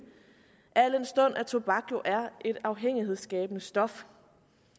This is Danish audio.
al den stund at tobak jo er et afhængighedsskabende stof